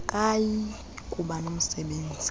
akayi kuba nomsebenzi